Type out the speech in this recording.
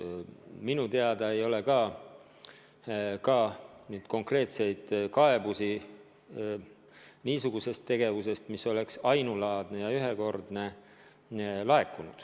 Minu teada ei ole ka laekunud konkreetseid kaebusi selle ainulaadse ja ühekordse tegevuse kohta.